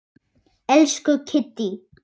Elsku Kiddý.